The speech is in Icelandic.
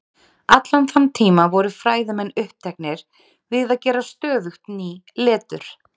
Allan þann tíma voru fræðimenn uppteknir við að gera stöðugt ný letur.